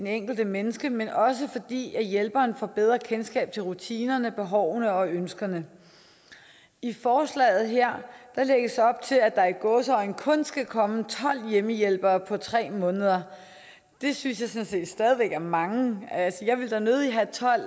enkelte menneske men også fordi hjælperen får bedre kendskab til rutinerne behovene og ønskerne i forslaget her lægges der op til at der i gåseøjne kun skal komme tolv hjemmehjælpere på tre måneder det synes jeg sådan set stadig væk er mange jeg ville da nødig have tolv